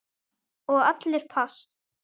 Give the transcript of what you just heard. Og allir pass.